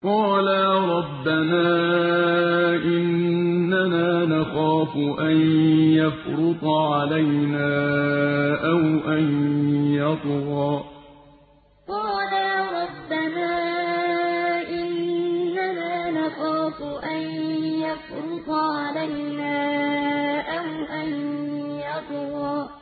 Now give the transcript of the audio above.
قَالَا رَبَّنَا إِنَّنَا نَخَافُ أَن يَفْرُطَ عَلَيْنَا أَوْ أَن يَطْغَىٰ قَالَا رَبَّنَا إِنَّنَا نَخَافُ أَن يَفْرُطَ عَلَيْنَا أَوْ أَن يَطْغَىٰ